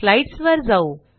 स्लाईडसवर जाऊ